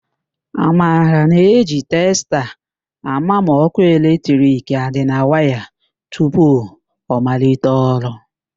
Amara na-eji testa àmà ma ọ́kụ́ eletrik a dị na waya tupu ọ malite ọrụ.